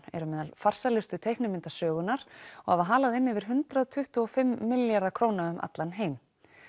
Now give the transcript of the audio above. eru meðal farsælustu teiknimynda sögunnar og hafa halað inn yfir hundrað tuttugu og fimm milljarða króna um allan heim